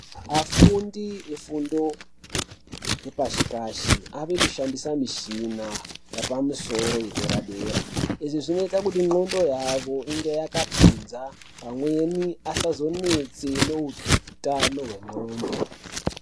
Afundi vefundo yepashi pashi ave kushandisa michina yapamusoro yedera dera izvi zvinoita ngonxo yawo inge yakapimza pamweni asazonetsa nehutano hwengonxo.